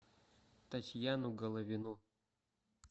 татьяну головину